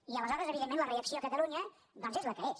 i aleshores evidentment la reacció a catalunya doncs és la que és